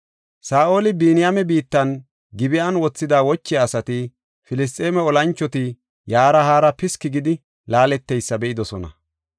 Saa7oli Biniyaame biittan, Gib7an wothida wochiya asati, Filisxeeme olanchoti yaara haara piski gidi laaleteysa be7idosona.